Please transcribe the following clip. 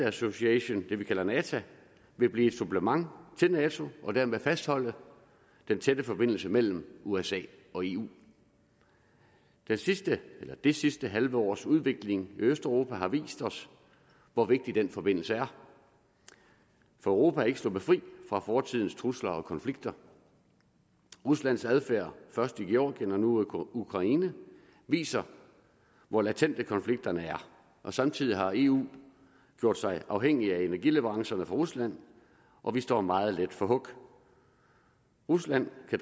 association det vi kalder nata vil blive et supplement til nato og dermed fastholde den tætte forbindelse mellem usa og eu det sidste det sidste halve års udvikling i østeuropa har vist os hvor vigtig den forbindelse er for europa er ikke sluppet fri af fortidens trusler og konflikter ruslands adfærd først i georgien og nu i ukraine viser hvor latente konflikterne er og samtidig har eu gjort sig afhængig af energileverancerne fra rusland og vi står meget let for hug rusland kan